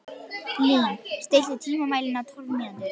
Lín, stilltu tímamælinn á tólf mínútur.